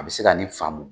A bɛ se ka nin faamu